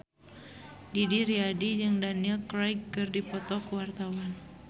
Didi Riyadi jeung Daniel Craig keur dipoto ku wartawan